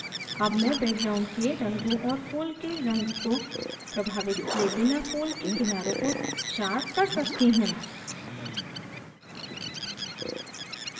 अब मैं background के रंगों और फूल के रंग को प्रभावित किये बिना फूल के किनारे को sharpen कर सकती हूँ